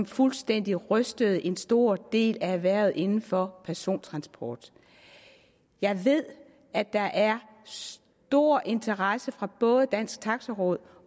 fuldstændig rystede en stor del af erhvervet inden for persontransport jeg ved at der er stor interesse fra både dansk taxi råds